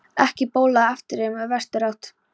Ekki bólaði á eftirreið úr vesturátt.